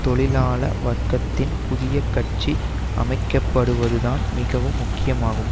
தொழிலாள வர்க்கத்தின் புதிய கட்சி அமைக்கப்படுவது தான் மிகவும் முக்கியமாகும்